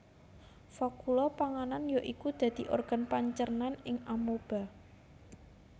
Vakuola panganan ya iku dadi organ pancernan ing Amoeba